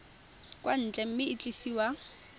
kwa ntle mme e tliswa